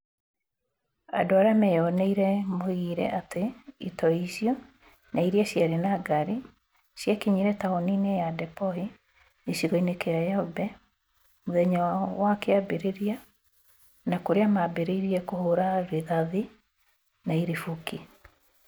Andũ arĩa meyoneire maugire atĩ itoi icio na irĩa ciarĩ na ngari ciakinyire taũni-inĩ ya Dapchi, gĩcigo-inĩ gĩa Yombe, mũthenya wa kĩambĩrĩria na kũrĩa mambĩrĩria kũhũra rĩthathi na iribũki.